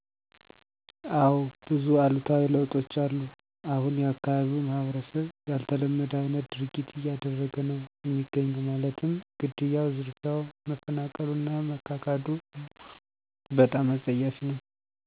እዎ ብዙ እሉታዊ ለውጦች አሉ እሁን የአካባቢው ማህበረሰብ ያልተለመደ አይነት ድርጊት እያደረገ ነው እሚገኘው ማለትም ግድያው፣ ዝርፊያው፣ መፈናቀሉ እና መካካዱ በጣም አፀያፊ ነው።